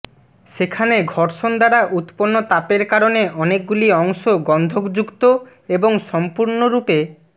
সেখানে ঘর্ষণ দ্বারা উত্পন্ন তাপের কারণে অনেকগুলি অংশ গন্ধক যুক্ত এবং সম্পূর্ণরূপে